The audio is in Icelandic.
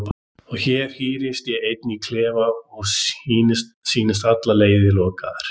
Og hér hírðist ég ein í klefa og sýndist allar leiðir lokaðar.